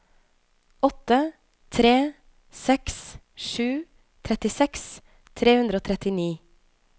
åtte tre seks sju trettiseks tre hundre og trettini